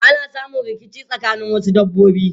Ana samun rikici tsakanin wasu dabbobi.